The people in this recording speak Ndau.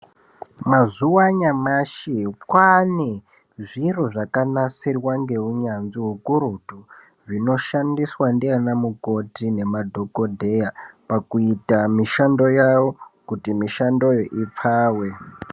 Mazuwa anyamashi kwaane zviro zvakanasirwa ngeunyanzvi ukurutu zvinoshandiswa ndiana mukoti nemadhogodheya pakuita mishando yawo kuti mishandoyo ipfawe.